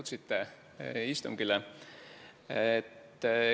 Tore, et istungile jõudsite.